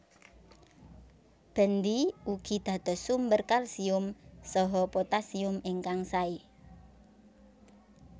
Bendi ugi dados sumber kalsium saha potassium ingkang sae